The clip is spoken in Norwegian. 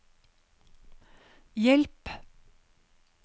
hjelp